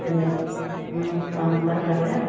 . ਹਮ ਕੰਮਕਾਰ ਕਰ ਲਿਆ?